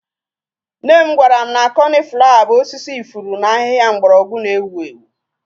Nne m gwara m na coniflawa bụ osisi ifuru na ahịhịa mgbọrọgwụ na-ewu ewu.